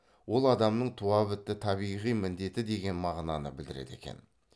ол адамның туа бітті табиғи міндеті деген мағынаны білдіреді екен